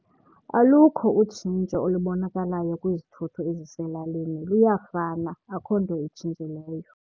Alukho utshintsho olubonakalayo kwizithuthi eziselalini, luyafana akho nto itshintshileyo.